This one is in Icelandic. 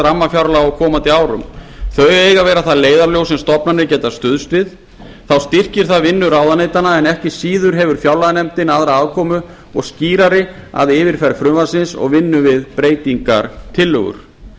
rammafjárlaga á komandi árum þau eiga að vera það leiðarljós sem stofnanir geta stuðst við þá styrkir það vinnu ráðuneytanna en ekki síður hefur fjárlaganefndin aðra aðkomu og skýrari að yfirferð frumvarpsins og vinnu við breytingartillögur það